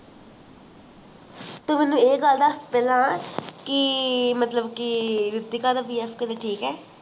ਤੂੰ ਮੈਨੂੰ ਇਹ ਗੱਲ ਦੱਸ ਪਹਿਲਾਂ ਕਿ ਮਤਲਬ ਕਿ ਰੀਤਿਕਾ ਦਾ boyfriend ਕਿਵੇਂ ਠੀਕ ਹੈ